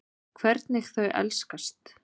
Hvernig þau elskast.